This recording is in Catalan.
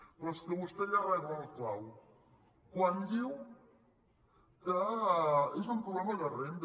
però és que vostè ja rebla el clau quan diu que és un problema de rendes